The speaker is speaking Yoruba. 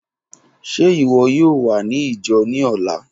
Ṣe iwọ yoo wa ni ijo ni ọla?